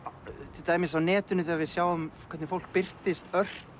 til dæmis á netinu þegar við sjáum hvernig fólk birtist ört